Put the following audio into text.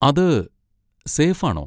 അത് സേഫ് ആണോ?